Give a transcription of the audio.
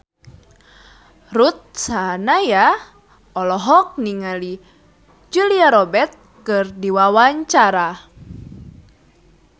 Ruth Sahanaya olohok ningali Julia Robert keur diwawancara